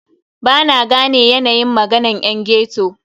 Bana gane yanayin maganan yan ghetto.